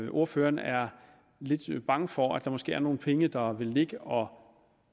at ordføreren er lidt bange for at der måske er nogle penge der vil ligge og